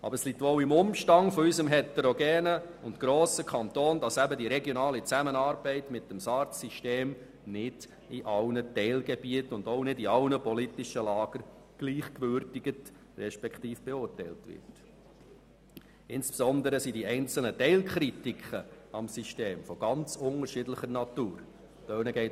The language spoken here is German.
Doch es liegt wohl an unserem heterogenen und grossen Kanton, dass die regionale Zusammenarbeit mit dem SARZ-System nicht von allen politischen Lagern gleich beurteilt wird und die einzelnen Teilkritiken am System ganz unterschiedlicher Natur sind.